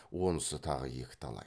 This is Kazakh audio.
онысы тағы екі талай